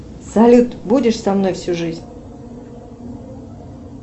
салют будешь со мной всю жизнь